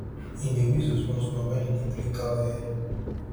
him dey whistle smallsmall wen e dey clean cow ear